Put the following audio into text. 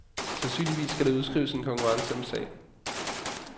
Sandsynligvis skal der udskrives en konkurrence om sagen.